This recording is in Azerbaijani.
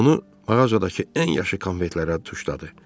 Onu mağazadakı ən yaxşı konfetlərə tuşladı.